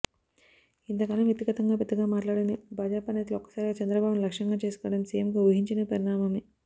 ఇంతకాలం వ్యక్తిగతంగా పెద్దగా మాట్లాడని భాజపా నేతలు ఒక్కసారిగా చంద్రబాబును లక్ష్యంగా చేసుకోవటం సిఎంకు ఊహించని పరిణామమే